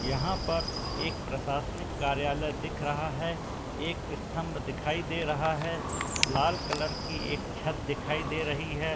यहाँ पर एक प्रशाशनिक कार्यालय दिख रहा है। एक स्तंभ दिखाई दे रहा है। लाल कलर की एक छत दिखाई दे रही है।